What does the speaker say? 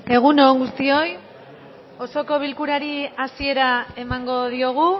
egun on guztioi osoko bilkurari hasiera emango diogu